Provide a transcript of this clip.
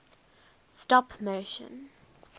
stop motion